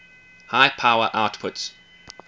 high power outputs